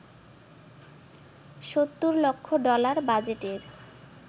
৭০ লক্ষ ডলার বাজেটের